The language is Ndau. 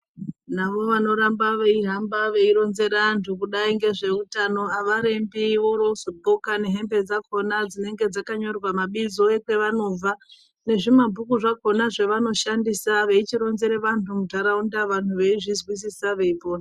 Navo vanoramba veihamba veyironzera vantu kudai ngezveutano havarembi vorozodxoka nehembe dzakona dzinodai dzakanyorwa nabizo ekwa vanobva nezvimabhuku zvakona zvavanoshandisa veichironzere vantu mundaraunda vantu veizwisisa veipona.